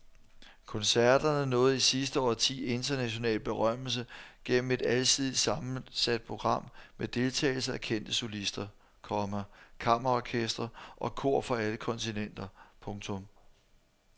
Koncerterne nåede i sidste årti international berømmelse gennem et alsidigt sammensat program med deltagelse af kendte solister, komma kammerorkestre og kor fra alle kontinenter. punktum